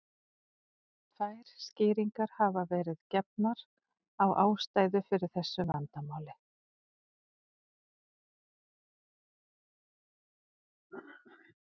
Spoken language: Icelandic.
Tvær skýringar hafa verið gefnar á ástæðu fyrir þessu vandamáli.